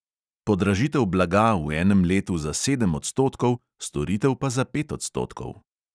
Podražitev blaga v enem letu za sedem odstotkov, storitev pa za pet odstotkov.